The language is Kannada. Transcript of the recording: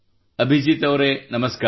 ಅಭಿಜೀತ್ ಅವರೇ ನಮಸ್ಕಾರ